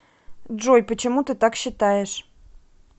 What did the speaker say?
джой почему ты так считаешь